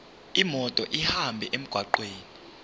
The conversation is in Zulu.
imoto ihambe emgwaqweni